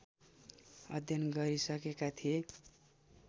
अध्ययन गरिसकेका थिए